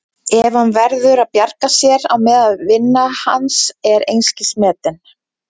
En hann verður að bjarga sér á meðan vinna hans er einskis metin.